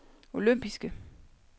olympiske